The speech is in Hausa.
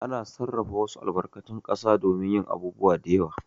Ana sarrafa wasu albarkatun ƙasa domin yin abubuwa da yawa.